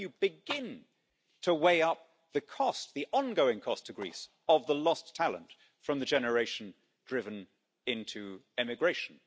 How can you begin to weigh up the ongoing cost to Greece of the lost talent from the generation driven into emigration?